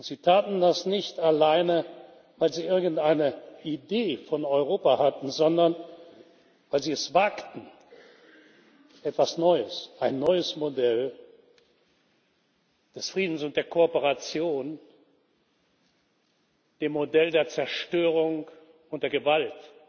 Sie taten das nicht alleine, weil sie irgendeine Idee von Europa hatten, sondern weil sie es wagten, etwas Neues, ein neues Modell des Friedens und der Kooperation dem Modell der Zerstörung und der Gewalt,